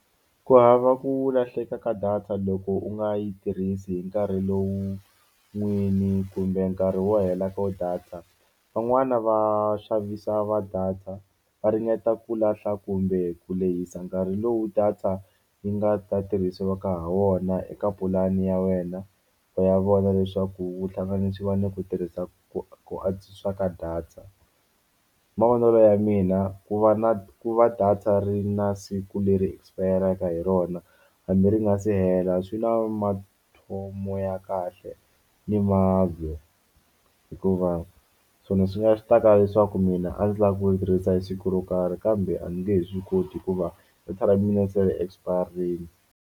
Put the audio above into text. Ku hava ku lahleka ka data loko u nga yi tirhisi hi nkarhi lowu n'wini kumbe nkarhi wo hela ka data van'wani va xavisa va data va ringeta ku lahla kumbe ku lehisa nkarhi lowu data yi nga ta tirhisiwaka ha wona eka pulani ya wena ya vona leswaku vuhlanganisi va ni ku tirhisa ku ku antswisa ka data, hi mavonelo ya mina ku va na ku va data ri na siku leri expire hi rona hambi ri nga se hela swi na mathomo ya kahle ni hikuva swona swi nga swi ta kala leswaku mina a ndzi lava ku yi tirhisa hi siku ro karhi kambe a ndzi nge he swi koti hikuva hi se expire-rini.